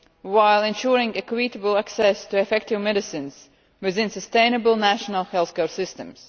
while ensuring equitable access to effective medicines within sustainable national health care systems.